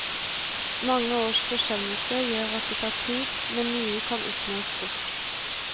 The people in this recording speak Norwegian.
Mange års forsømmelser gjør at det tar tid, men nye kan oppnås fort.